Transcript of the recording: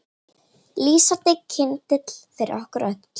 Lýsandi kyndill fyrir okkur öll.